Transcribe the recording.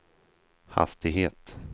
hastighet